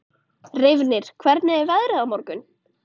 Reifnir, hvernig er veðrið á morgun?